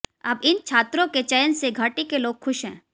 अब इन छात्रों के चयन से घाटी के लोग खुश हैं